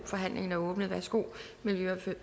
forhandlingen er åbnet værsgo miljø og